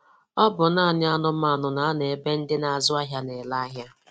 Ọ bụ naanị anụmanụ na-anọ ebe ndị na-azụ ahịa na-ere ahịa.